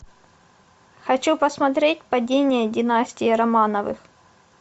хочу посмотреть падение династии романовых